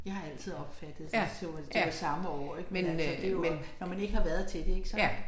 Jeg har altid opfattet det troet at det var samme år ik men altså det jo også når man ikke har været til det ik så